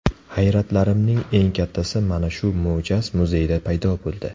Hayratlarimning eng kattasi mana shu mo‘jaz muzeyda paydo bo‘ldi.